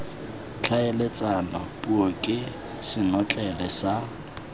tlhaeletsano puo ke senotlele sa